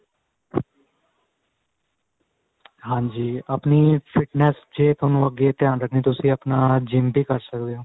ਹਾਂਜੀ ਆਪਣੀ fitness ਚ ਹੀ ਅੱਗੇ ਤੁਹਾਨੂੰ ਆਪਣਾ ਧਿਆਨ ਰੱਖਣਾ ਤੁਸੀਂ GYM ਵੀ ਕਰ ਸਕਦੇ ਓ